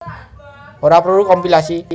Ora perlu kompilasi